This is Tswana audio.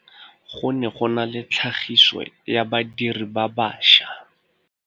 Go ne go na le tlhagisô ya badirir ba baša.